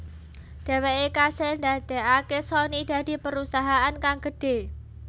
Dheweke kasil ndadeake Sony dadi perusahaan kang gedhe